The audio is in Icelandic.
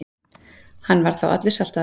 Hann var þá allur saltaður.